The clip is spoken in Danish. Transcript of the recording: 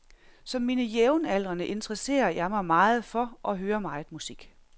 Som mine jævnaldrende interesserer jeg mig meget for og hører meget musik.